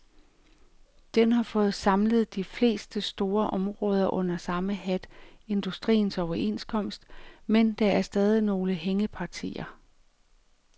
Den har fået samlet de fleste store områder under samme hat, industriens overenskomst, men der er stadig nogle hængepartier.